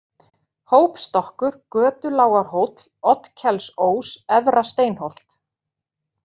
Hópstokkur, Götulágarhóll, Oddkelsós, Efra-Steinholt